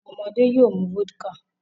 Awọn ọmọde yoo mu vodka